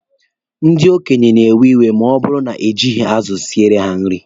Ndị okenye na-ewe iwe ma ọ bụrụ na ejighi azụ siele ha nri.